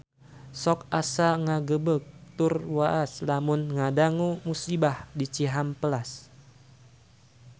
Sok asa ngagebeg tur waas lamun ngadangu musibah di Cihampelas